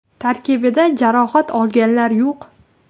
Tarkibda jarohat olganlar yo‘q.